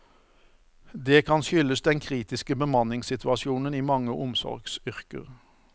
Det kan skyldes den kritiske bemanningssituasjonen i mange omsorgsyrker.